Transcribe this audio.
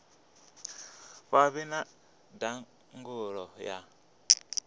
vha vhe na ndangulo ya